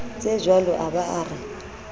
tsejwalo a ba a re